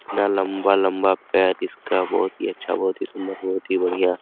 इतना लम्बा-लम्बा पैर इसका बहुत ही अच्छा बहुत ही सुन्दर बहुत ही बढियां।